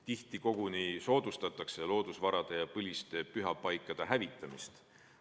Tihti koguni soodustatakse loodusvarade ja põliste pühapaikade hävitamist.